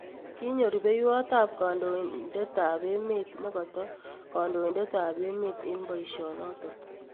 Kinyo rupeywotap kandoindetap emeet negoto kandoindetap emeet en poishonoton